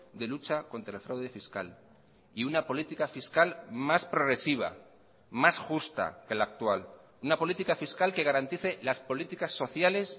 de lucha contra el fraude fiscal y una política fiscal más progresiva más justa que la actual una política fiscal que garantice las políticas sociales